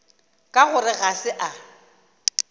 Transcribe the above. ka gore ga se a